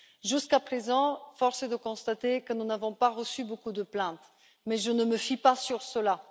Jusqu'à présent, force est de constater que nous n'avons pas reçu beaucoup de plaintes, mais je ne me fie pas à cela.